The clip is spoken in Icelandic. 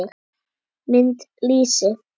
Mynd: Lýsi.